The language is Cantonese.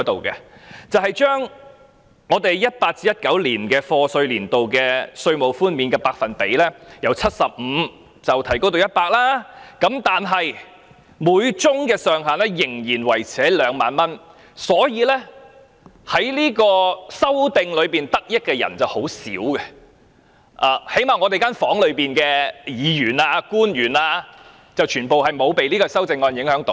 2018-2019 年度稅務寬免的百分比由 75% 提升至 100%， 每宗個案上限仍然維持2萬元，所以能藉修正案得益的人很少，最低限度會議廳內的議員和官員也不受修正案影響。